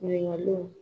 Ɲininkaliw